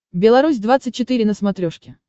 белорусь двадцать четыре на смотрешке